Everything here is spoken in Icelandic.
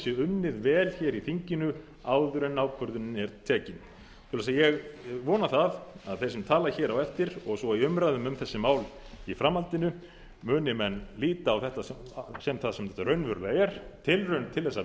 vel hér í þinginu áður en ákvörðunin er tekin svoleiðis að ég vona það að þeir sem tala hér á eftir og svo í umræðum um þessi mál í framhaldinu muni menn líta á þetta sem það sem þetta raunverulega er tilraun til þess að